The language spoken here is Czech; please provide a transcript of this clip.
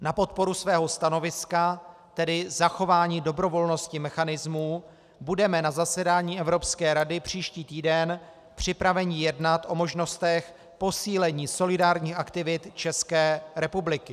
Na podporu svého stanoviska, tedy zachování dobrovolnosti mechanismů, budeme na zasedání Evropské rady příští týden připraveni jednat o možnostech posílení solidárních aktivit České republiky.